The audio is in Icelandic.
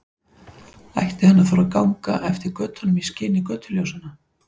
Ætti hann að þora að ganga eftir götunum í skini götuljósanna?